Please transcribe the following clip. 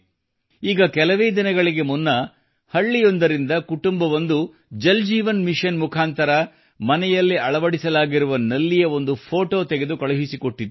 ಈಗ ಕೆಲವೇ ದಿನಗಳಿಗೆ ಮುನ್ನ ಹಳ್ಳಿಯೊಂದರಿಂದ ಕುಟುಂಬವೊಂದು ಜಲ್ ಜೀವನ್ ಮಿಶನ್ ಮುಖಾಂತರ ಮನೆಯಲ್ಲಿ ಅಳವಡಿಸಲಾದ ನಲ್ಲಿಯ ಒಂದು ಫೋಟೋ ತೆಗೆದು ಕಳುಹಿಸಿಕೊಟ್ಟಿತ್ತು